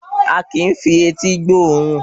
A kìí fi etí gbóòórùn